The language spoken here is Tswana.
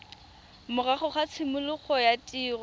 morago ga tshimologo ya tiriso